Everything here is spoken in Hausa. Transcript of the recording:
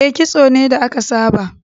E, kitso ne da aka saba.